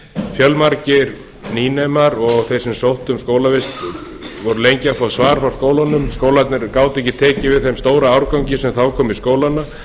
fjölmargir nýnemar og þeir sem sóttu um skólavist voru lengi að fá svar frá skólanum skólarnir gátu ekki tekið við þeim stóra árgangi sem þá kom í skólana